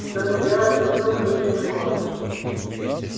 что вы делаете вдруг крикнул скотт